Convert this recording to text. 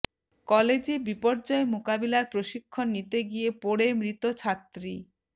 কলেজে বিপর্যয় মোকাবিলার প্রশিক্ষণ নিতে গিয়ে পড়ে মৃত ছাত্রী